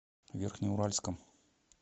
верхнеуральском